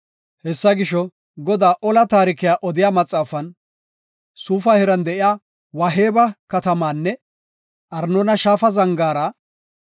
Hessa gisho, Godaa ola taarikiya odiya maxaafan, “Suufa heeran de7iya Waaheba katamaanne Arnoona Shaafa zangaara,